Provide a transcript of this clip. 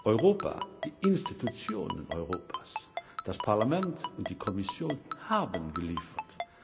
Europa, die Institutionen Europas, das Parlament und die Kommission haben geliefert!